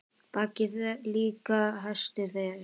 Baggi líka hestur er.